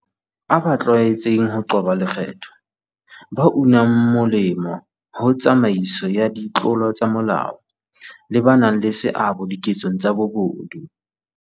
a ba tlwaetseng ho qoba lekgetho, ba unang molemo ho tsamaiso ya ditlolo tsa molao, le ba nang le seabo diketsong tsa bobodu.